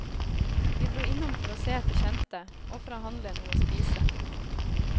Vi dro innom for å se etter kjente, og for å handle noe å spise.